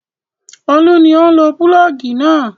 Olú ni ó ń lo pulọ́ọ́gì náà.